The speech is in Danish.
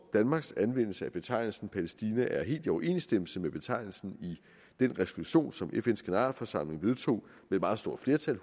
danmarks anvendelse af betegnelsen palæstina er helt i overensstemmelse med betegnelsen i den resolution som fns generalforsamling vedtog med meget stort flertal